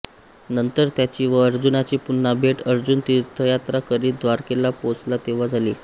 नंतर त्याची व अर्जुनाची पुन्हा भेट अर्जुन तीर्थयात्रा करीत द्वारकेला पोचला तेव्हा झाली